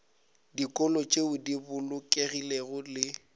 dikolo tšeo di bolokegilego le